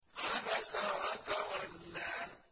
عَبَسَ وَتَوَلَّىٰ